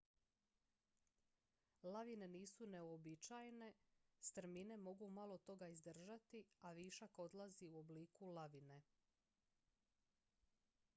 lavine nisu neuobičajene strmine mogu malo toga izdržati a višak odlazi u obliku lavine